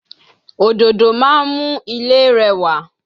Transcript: Òdòdó máa mú ilé rẹwà